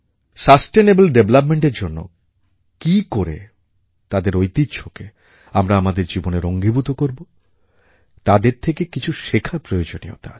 sustainable Developmentএর জন্য কী করে তাদের ঐতিহ্যকে আমরা আমাদের জীবনের অঙ্গীভূত করবো তাদের থেকে কিছু শেখার প্রয়োজনীয়তা আছে